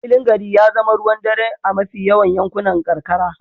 Filin gari ya zama ruwan dare a mafi yawan yankunan karkara.